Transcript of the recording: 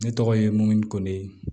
Ne tɔgɔ ye moyi ko ne